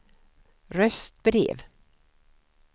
röstbrev